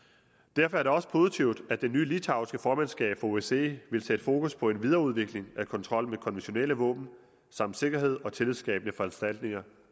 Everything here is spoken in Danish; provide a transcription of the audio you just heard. derfor er det også positivt at det nye litauiske formandskab for osce vil sætte fokus på en videreudvikling af kontrollen med konventionelle våben samt sikkerhed og tillidsskabende foranstaltninger